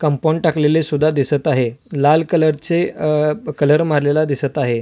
Compound टाकलेले सुद्धा दिसत आहे लाल कलर चे अ कलर मारलेला दिसत आहे.